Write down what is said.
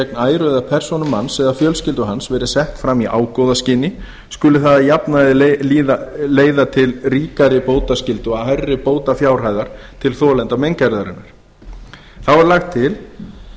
gegn æru eða persónu manns eða fjölskyldu hans verið sett fram í ágóðaskyni skuli það að jafnaði leiða til ríkari bótaskyldu og hærri bótafjárhæðar til þolanda meingerðarinnar þá er lagt til